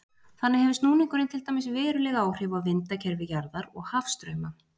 þannig hefur snúningurinn til dæmis veruleg áhrif á vindakerfi jarðar og hafstrauma